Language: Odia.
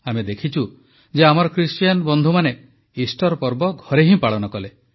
ଆମେ ଦେଖିଛୁ ଯେ ଆମର ଖ୍ରୀଷ୍ଟିଆନ ବନ୍ଧୁମାନେ ଇଷ୍ଟର ପର୍ବ ଘରେ ହିଁ ପାଳନ କଲେ